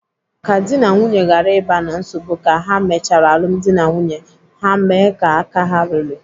Ka dị na nwunye ghara ịba na nsogbu ka ha mechara alụmdi na nwunye, ha mee ka aka ha ruru.